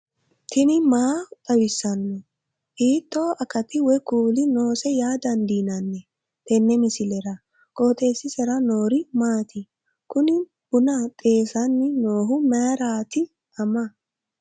tini maa xawissanno ? hiitto akati woy kuuli noose yaa dandiinanni tenne misilera? qooxeessisera noori maati? kuni buna xeessanni noohu mayraati ama